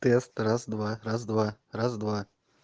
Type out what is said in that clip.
тест раз-два раз-два раз-два